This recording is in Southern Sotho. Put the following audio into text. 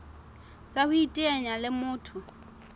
tsa ho iteanya le motho